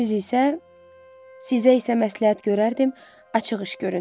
Siz isə, sizə isə məsləhət görərdim açıq iş görün.